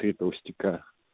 три толстяка